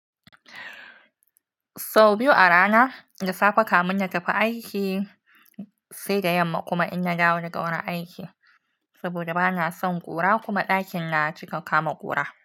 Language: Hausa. Sau biyu a rana, da safe kamun na tafi aiki sai da yamma kuma in ya dawo daga wurin aiki. Saboda bana son ƙura kuma ɗakin na cika kama ƙura.